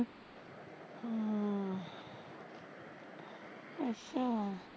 ਅੱਛਾ